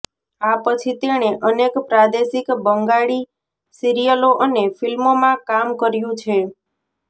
આ પછી તેણે અનેક પ્રાદેશિક બંગાળી સિરિયલો અને ફિલ્મોમાં કામ કર્યું છે